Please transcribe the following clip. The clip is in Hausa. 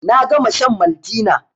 Na gama shan Maltina